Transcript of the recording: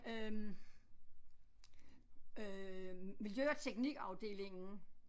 Øh øh miljø og teknikafdelingen